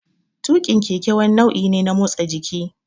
Tuƙin keke wani nau'i ne na motsa jiki.